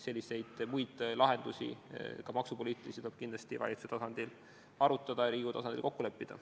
Selliseid lahendusi, ka maksupoliitilisi, tuleb kindlasti valitsuse tasandil arutada ja Riigikogu tasandil kokku leppida.